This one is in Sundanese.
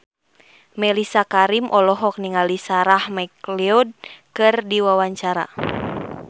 Mellisa Karim olohok ningali Sarah McLeod keur diwawancara